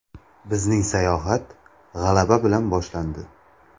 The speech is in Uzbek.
Bizning sayohat g‘alaba bilan boshlandi.